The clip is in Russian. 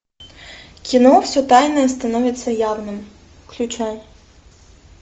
кино все тайное становится явным включай